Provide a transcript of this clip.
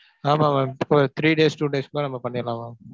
ஆமா mam. ஒரு three days, two days குள்ளலாம் நாம பண்ணிரலாம் mam.